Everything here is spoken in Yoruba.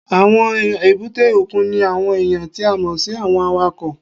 Àwọn èbúté òkun ní àwọn èèyàn tí a mọ̀ sí àwọn awakọ̀